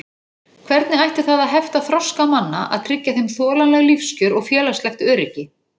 Hvernig ætti það að hefta þroska manna að tryggja þeim þolanleg lífskjör og félagslegt öryggi?